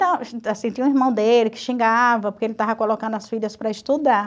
Tinha um irmão dele que xingava porque ele estava colocando as filhas para estudar.